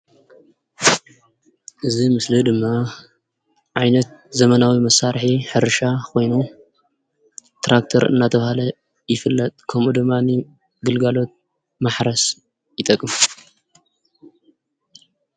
እዚ ምስሊ ድማ ዓይነት ዘመናዊ መሳርሒ ሕርሻ ኮይኑ ትራክተር እንዳተባሃለ ይፍለጥ፡፡ ከምኡ ድማ ንግልጋሎት ማሕረስ ይጠቅም፡፡